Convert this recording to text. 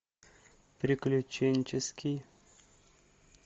приключенческий